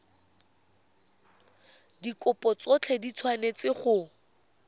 dikopo tsotlhe di tshwanetse go